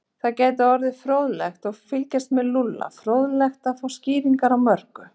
Það gæti orðið fróðlegt að fylgjast með Lúlla, fróðlegt að fá skýringar á mörgu.